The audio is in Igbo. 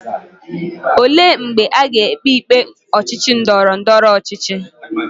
Ole mgbe aga ekpe ikpe ochichi ndoro ndoro ochichi?